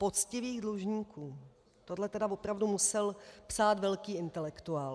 Poctivých dlužníků - tohle tedy opravdu musel psát velký intelektuál.